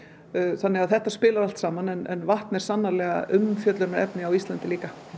þannig að þetta spilar allt saman en vatn er sannarlega umfjöllunarefni á Íslandi líka